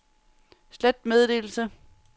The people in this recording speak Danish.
slet meddelelse